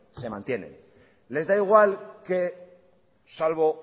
se mantienen les da igual que salvo